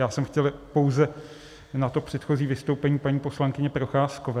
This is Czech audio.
Já jsem chtěl pouze na to předchozí vystoupení paní poslankyně Procházkové.